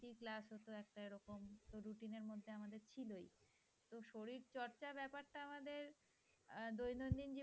তো শরীর চর্চা ব্যাপার টা আমাদের আহ দৈনন্দিন জীবনে